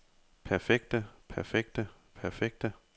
perfekte perfekte perfekte